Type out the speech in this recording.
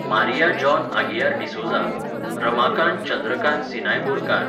Maria John Aguiar D'Souza, Ramakant Chandrakant Sinai Borkar,